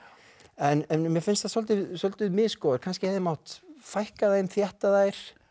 en mér finnst þær svolítið svolítið misgóðar kannski hefði mátt fækka þeim þétta þær